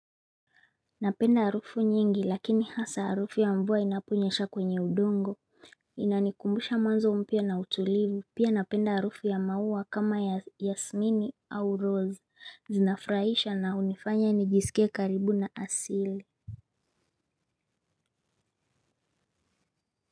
Napenda harufu nyingi lakini hasa harufu ya mvua inaponyesha kwenye udongo. Inanikumbusha mwanzo mpya na utulivu pia napenda harufu ya maua kama Yasmini au Rose zinafurahisha na unifanya nijisikie karibu na asili.